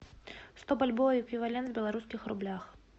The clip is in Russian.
сто бальбоа эквивалент в белорусских рублях